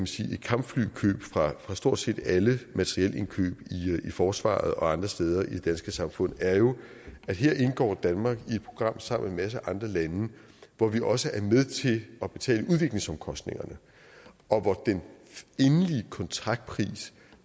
sige et kampflykøb fra stort set alle materielindkøb i forsvaret og andre steder i det danske samfund er jo at her indgår danmark i et program sammen med en masse andre lande hvor vi også er med til at betale udviklingsomkostningerne og hvor den endelige kontraktpris